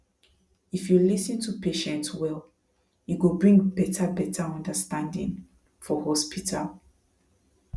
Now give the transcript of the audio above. if you lis ten to patient well e go bring better better understanding for hospital